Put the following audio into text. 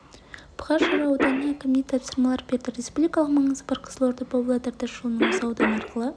бұқар жырау ауданының әкіміне тасырмалар берді республикалық маңызы бар қызылорда-павлодар тас жолының осы аудан арқылы